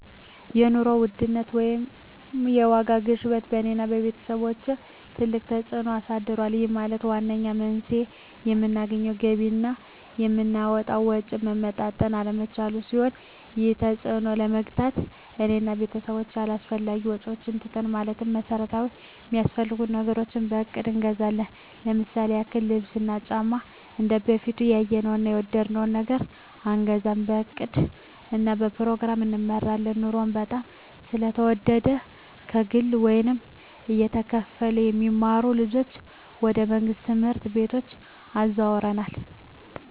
የኑሮ ውድነት ወይም የዋጋ ግሽበት በእኔ እና በቤተሰቦቸ ትልቅ ተፅእኖ አሳድሮብናል ይህም ማለት ዋነኛው መንስኤው የምናገኘው ገቢ እና የምናወጣው ወጪ መመጣጠን አለመቻሉን ሲሆን ይህንን ተፅዕኖ ለመግታት እኔ እና ቤተሰቦቸ አላስፈላጊ ወጪዎችን ትተናል ማለትም መሠረታዊ ሚያስፈልጉንን ነገሮች በእቅድ እንገዛለን ለምሳሌ ያክል ልብስ እና ጫማ እንደበፊቱ ያየነውን እና የወደድነውን ነገር አንገዛም በእቅድ እና በፕሮግራም እንመራለን ኑሮው በጣም ስለተወደደ ከግለ ወይም እየተከፈለ የሚማሩ ልጆችን ወደ መንግሥት ትምህርት ቤቶች አዘዋውረናል